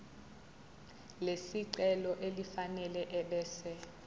lesicelo elifanele ebese